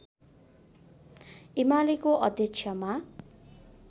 एमालेको अध्यक्षमा